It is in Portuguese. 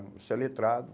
Você é letrado.